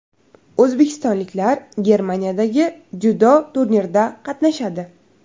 O‘zbekistonliklar Germaniyadagi dzyudo turnirida qatnashadi.